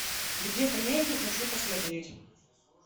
где то между хочу посмотреть